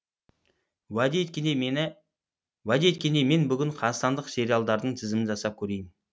уәде еткендей мен бүгін қазақстандық сериалдардың тізімін жасап көрейін